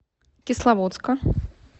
кисловодска